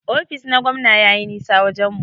Ofis na gwamna yayi nisa wajen mu.